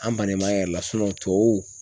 An bannen b'an yɛrɛ la tubabuw